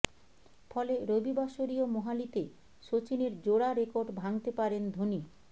ফলে রবিবাসরীয় মোহালিতে সচিনের জোড়া রেকর্ড ভাঙতে পারেন ধোনি